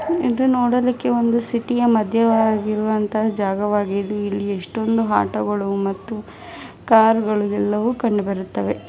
ಇದು ನೋಡಲಿಕ್ಕೆ ಒಂದು ಸಿಟಿಯ ಮದ್ಯೆ ಆಗಿರುವಂತಹ ಜಾಗವಾಗಿದ್ದು ಇಲ್ಲಿ ಎಷ್ಟೊಂದು ಆಟೋಗಳು ಮತ್ತು ಕಾರುಗಳು ಎಲ್ಲವೂ ಕಂಡು ಬರುತ್ತದೆ.